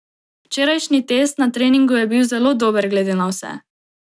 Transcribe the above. Včerajšnji test na treningu je bil zelo dober glede na vse.